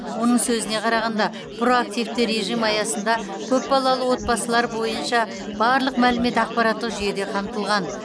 оның сөзіне қарағанда проактивті режім аясында көпбалалы отбасылар бойынша барлық мәлімет ақпараттық жүйеде қамтылған